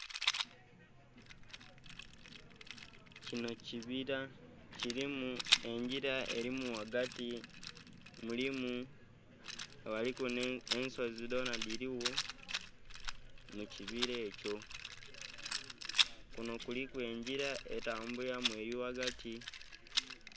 Kino kibila, kilimu engila elimu ghagati. Mulimu, ghaliku nh'ensozi dhona dhiligho mu kibila ekyo. Kuno kuliku engila etambulilamu eli ghagati.